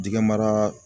Dingɛ mara